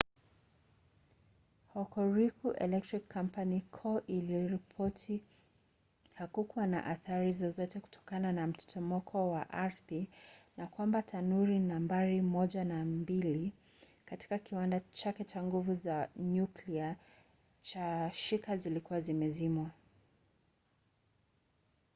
hokuriku electric power co. iliripoti hakukuwa na athari zozote kutokana na mtetemeko wa ardhi na kwamba tanuri nambari 1 na 2 katika kiwanda chake cha nguvu za nyuklia cha shika zilikuwa zimezimwa